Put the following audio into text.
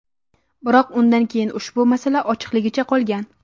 Biroq undan keyin ushbu masala ochiqligicha qolgan.